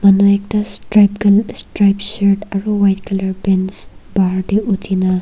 Manu ekta strik en stripe shirt aro white colour pants bahar dae uthina--